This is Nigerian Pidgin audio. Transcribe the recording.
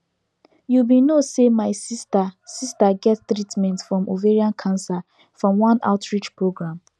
you be no say my sister sister get treatment from ovarian cancer from one outreach program